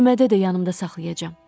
Türmədə də yanımda saxlayacam.